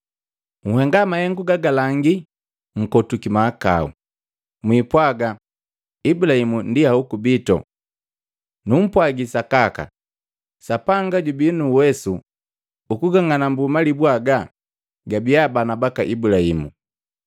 Nhenga mahengu gagalangi nkotwiki mahakau. Mwipwaaga, ‘Ibulahimu ndi hoku witu!’ Numpwagi sakaka, Sapanga jubi nuuwesu ukung'anambu malibu haga gabia bana baka Ibulahimu!